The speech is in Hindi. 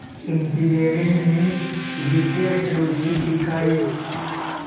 इंजीनियरिंग में विशेष रुचि दिखाई